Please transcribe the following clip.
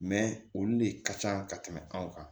olu de ka can ka tɛmɛ anw kan